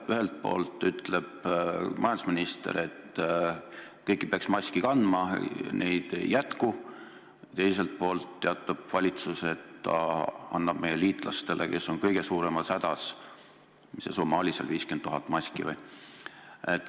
Ühelt poolt ütleb majandusminister, et kõik peaks maske kandma, neid jätkub, teiselt poolt teatab valitsus, et ta annab meie liitlastele, kes on kõige suuremas hädas, mis see summa oligi, 50 000 maski.